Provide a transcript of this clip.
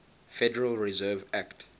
federal reserve act